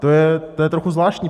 To je trochu zvláštní.